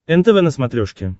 нтв на смотрешке